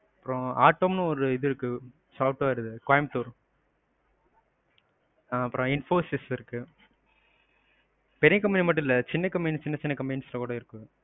அப்பறம் autom னு ஒரு இது இருக்கு software இது கோயம்பத்தூர். ஆ அப்பறம் infosys இருக்கு. பெரிய company மட்டும் இல்ல, சின்ன company சின்ன, சின்ன companies ல கூட இருக்கு.